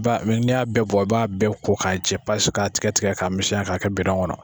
Ba n'i y'a bɛɛ bɔ i b'a bɛɛ ko k'a jɛ ka tigɛtigɛ k'a misɛnya ka kɛ kɔnɔ.